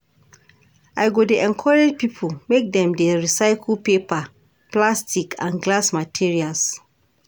I go dey encourage pipo make dem dey recycle paper, plastic and glass materials.